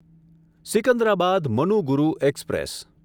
Secunderabad Manuguru express